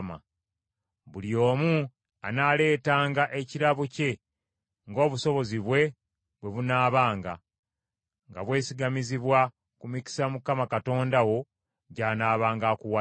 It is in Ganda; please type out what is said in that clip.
Buli omu anaaleetanga ekirabo kye ng’obusobozi bwe bwe bunaabanga, nga bwesigamizibwa ku mikisa Mukama Katonda wo gy’anaabanga akuwadde.